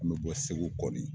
N mi bɔ Segu kɔni